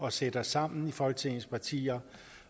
at sætte os sammen i folketingets partier